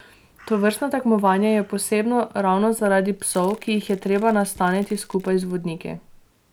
Tovrstno tekmovanje je posebno ravno zaradi psov, ki jih je treba nastaniti skupaj z vodniki.